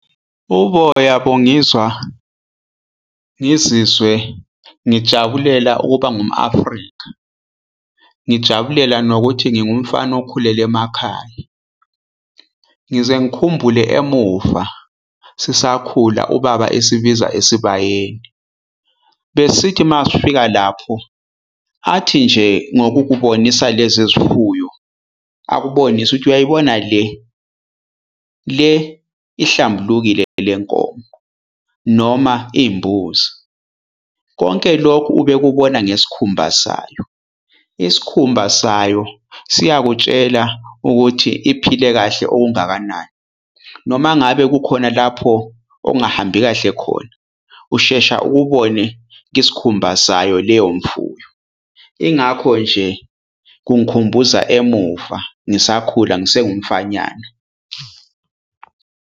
Uboya bungizwa ngizizwe ngijabulela ukuba ngumu-Afrika, ngijabulela nokuthi ngiwumfana okhulele emakhaya. Ngize ngikhumbule emuva sisakhula ubaba esibiza esibayeni. Besithi uma sifika lapho, athi nje ngokubonisa lezi zifuyo, akubonise ukuthi uyayibona le, le ihlambulukile le nkomo noma imbuzi. Konke lokhu ubekubona ngesikhumba sayo. Isikhumba sayo siyakutshela ukuthi iphile kahle okungakanani. Noma ngabe kukhona lapho okungahambi kahle khona, ushesha ukubone kwisikhumba sayo leyo mfuyo. Ingakho nje kungikhumbuza emuva, ngisakhula ngisengumfananyana.